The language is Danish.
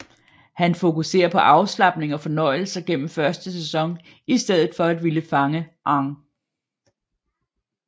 Han fokuserer på afslapning og fornøjelser gennem første sæson i stedet for at ville fange Aang